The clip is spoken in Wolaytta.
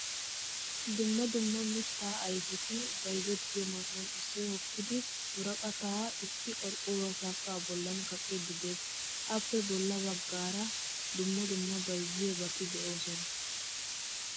Dumma dumma mitta ayfetti bayzzetiyo man'iyan issoy hokkidi worqqata issi qorqoruwaa sanqqa bollan kaaqqidi de'ees. Appe bolla baggaara dumma dumma bayzziyobati deosona.